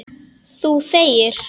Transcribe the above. Þú þegir.